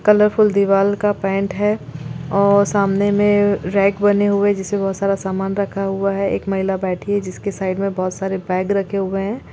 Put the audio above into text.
Colourful दिवार का paint है और सामने में रैक बने हुए हैं जिसमें बहुत सारा सामान रखा हुआ है एक महिला बैठी है जिसके साइड में बहुत सारे बैग रखे हुए हैं।